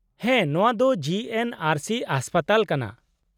-ᱦᱮᱸ, ᱱᱚᱶᱟ ᱫᱚ ᱡᱤᱹ ᱮᱱᱹ ᱟᱨᱹ ᱥᱤ ᱦᱟᱥᱯᱟᱛᱟᱞ ᱠᱟᱱᱟ ᱾